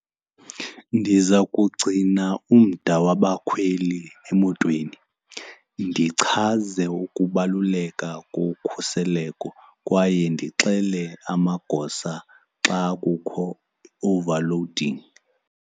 Ndiza kugcina umda wabakhweli emotweni, ndichaze ukubaluleka kokhuseleko kwaye ndixele amagosa xa kukho i-overloading.